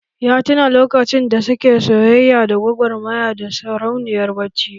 Ya tuna lokacin da suke soyayya da gwagwarmaya da sarauniyar bacci